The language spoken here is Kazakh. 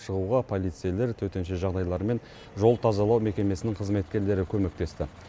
шығуға полицейлер төтенше жағдайлар мен жол тазалау мекемесінің қызметкерлері көмектесті